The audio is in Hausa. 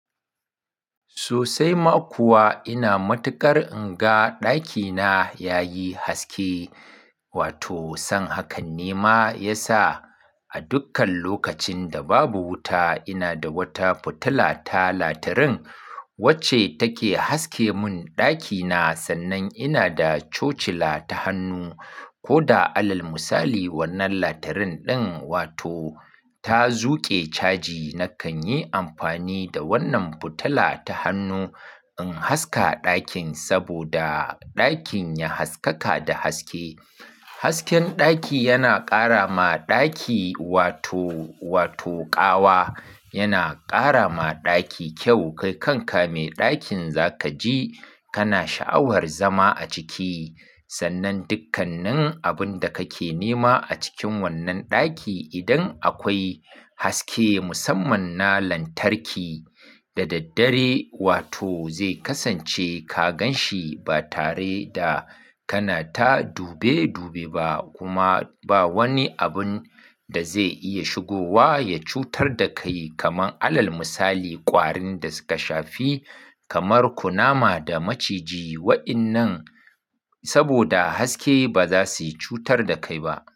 Sosai ma kuwa ina matuƙar inga ɗakina yayi haske, wato san hakan nema ya sa a dukkan lokacin da babu wuta ina da wata fitila ta latarin wacce take haske mun ɗakina, sannan ina da chochila ta hannu. Ko da alal misali wannan latarin ɗin wato ta zuƙe caji nakan yi amfani da wannan fitila ta hannu in haska ɗakin saboda ɗakin ya haskaka da haske. Hasken ɗaki yana ƙara ma ɗaki wato, wato ƙawa. Yana ƙara ma ɗaki kyau, kai kan ka me ɗakin za ka ji kana sha'awar zama a ciki. Sannan dukkanin abun da kake nema a cikin wannan ɗaki idan akwai haske musamman na lantarki, da daddare wato zai kasance ka gan shi ba tare da kana ta dube dube ba kuma ba wani abun da zai iya shigowa ya cutar da kai. Kaman alal misali ƙwarin da suka shafi kamar kunama da maciji wa'innan saboda haske ba za su yi cutar da kai ba.